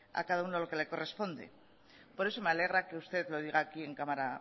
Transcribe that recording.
a cada uno lo que le corresponde por eso me alegra que usted lo diga aquí en cámara